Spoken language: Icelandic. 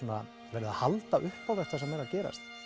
verið að halda upp á þetta sem er að gerast